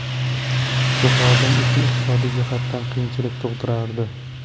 Bu xodim uchun iqtisodiy jihatdan qiyinchilik tug‘dirardi.